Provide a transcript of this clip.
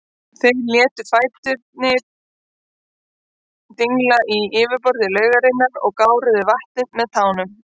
Þeir létu fæturna dingla í yfirborði laugarinnar og gáruðu vatnið með tánum.